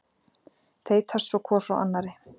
Þeytast svo hvor frá annarri.